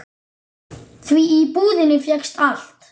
Því í búðinni fékkst allt.